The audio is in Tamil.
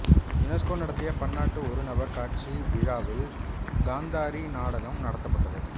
யுனெசுகோ நடத்திய பன்னாட்டு ஒரு நபர் காட்சி விழாவில் காந்தாரி நாடகம் நடத்தப்பட்டது